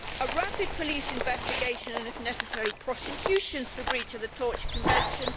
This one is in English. a rapid police investigation and, if necessary, prosecutions for breach of the Torture Convention